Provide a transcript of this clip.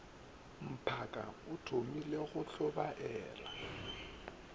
mphaka o thomile go tlhobaela